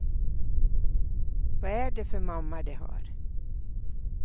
Vad är det för mamma de har?